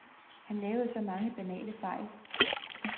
Han lavede så mange banale fejl.